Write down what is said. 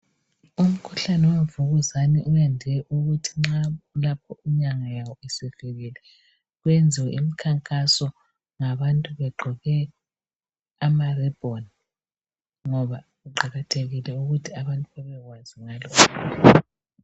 Umkhuhlane wemvukuzane uyande ukuthi nxa lapho inyanga yayo isivikelwe kuyenziwe imkhankaso ngabantu begqoke ama ribbon ukuthi abantu babekwazi ngalo umkhuhlane